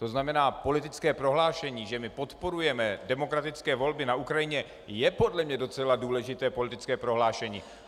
To znamená politické prohlášení, že my podporujeme demokratické volby na Ukrajině, je podle mě docela důležité politické prohlášení.